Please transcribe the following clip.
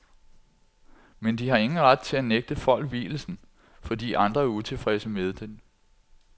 Men de har ingen ret til at nægte folk vielsen, fordi andre er utilfredse med den.